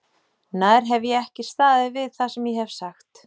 Nær hef ég ekki staðið við það sem ég hef sagt?